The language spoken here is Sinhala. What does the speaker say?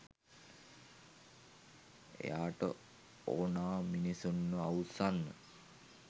එයාට ඕනා මිනිස්සුන්ව අවුස්සන්න